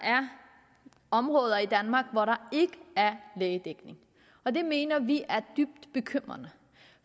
områder i danmark hvor der ikke er lægedækning og det mener vi er dybt bekymrende